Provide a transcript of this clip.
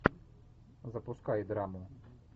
запускай драму